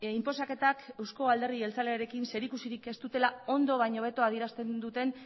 inposaketak eusko alderdi jeltzalearekin zerikusirik ez dutela ondo baino hobeto adierazten duten